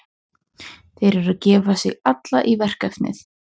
Þeir eru að gefa sig alla í verkefnið.